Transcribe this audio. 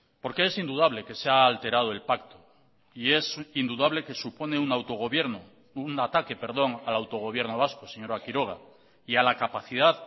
por que es indudable que se ha alterado el pacto y es indudable que supone un autogobierno un ataque perdón al autogobierno vasco señora quiroga y a la capacidad